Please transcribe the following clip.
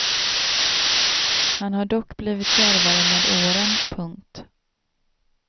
Han har dock blivit djärvare med åren. punkt